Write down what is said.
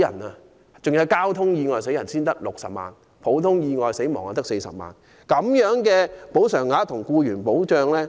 第二，如因交通意外死亡，賠償額是60萬元，普通意外死亡賠償額則為40萬元。